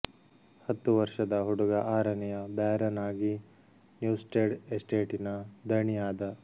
ಹತ್ತುವರ್ಷದ ಹುಡುಗ ಆರನೆಯ ಬ್ಯಾರನ್ ಆಗಿ ನ್ಯೂಸ್ಟೆಡ್ ಎಸ್ಟೇಟಿನ ದಣಿ ಆದ